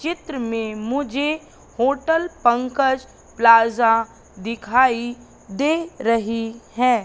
चित्र में मुझे होटल पंकज प्लाजा दिखाई दे रही है।